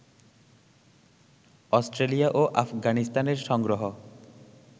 Australia ও আফগানিস্তানের সংগ্রহ